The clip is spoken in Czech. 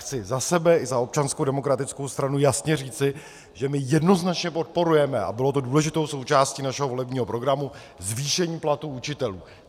Chci za sebe i za Občanskou demokratickou stranu jasně říci, že my jednoznačně podporujeme, a bylo to důležitou součástí našeho volebního programu, zvýšení platů učitelů.